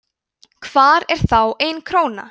hvar er þá ein króna